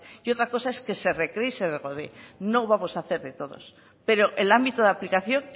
y otra cosa es que se recree y se regodee no vamos a hacer de todos pero el ámbito de aplicación